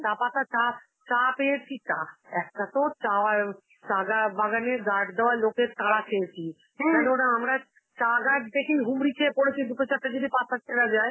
চা পাতা চা, চা পেয়েছি চা~ একটা তো চা~ অ্যাঁ ও চাগা বাগানে guard দেওয়া লোকের তারা খেয়েছি, কেননা ওরা আমরা চা গাছ থেকে হুমড়ি খেয়ে পড়েছি দুটো চারটে যদি পাতা কেনা যায়